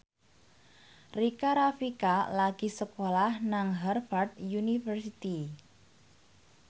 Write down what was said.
Rika Rafika lagi sekolah nang Harvard university